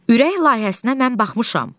Ürək layihəsinə mən baxmışam.